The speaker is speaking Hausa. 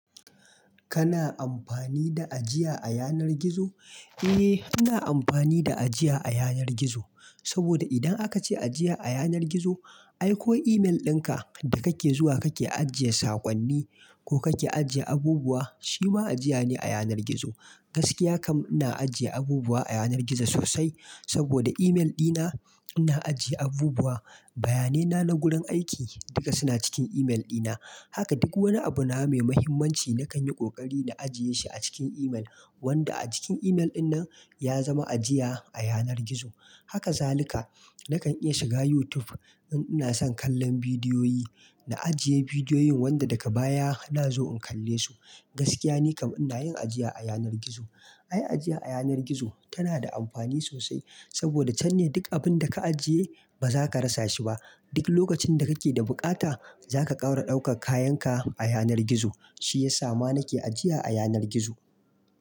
Kana amfani da ajiya a yanar gizo? Eh, ina amfani da ajiya a yanar gizo. Caboda idan aka ce ajiya a yanar gizo, ai ko email dinka da kake zuwa kake ajiye sakonni ko kake ajiye abubuwa, shi ma ajiya ne a yanar gizo. Gaskiya kam ina ajiya abubuwa a yanar gizo sosai saboda email dina, ina ajiya abubuwa, bayanena na gurin aiki duka suna cikin email dina. Haka duk wani abu na mai mahimmanci nakan yi ƙoƙari na ajiye shi a cikin email, wanda a cikin email dinnan ya zama ajiya a yanar gizo. Haka zalika nakan iya shiga YouTube in ina son kallon bidiyoyi, na ajiye bidiyoyin wanda daka baya na zo in kalle su. Gaskiya ni kam ina yin ajiya a yanar gizo. Ai ajiya a yanar gizo tana da amfani sosai saboda can ne dik abinda ka ajiye ba za ka rasa shi ba. Dik lokacin da kake da buƙata za ka ƙaura ɗaukak-kayanka a yanar gizo. Shi ya sa ma nake ajiya a yanar gizo.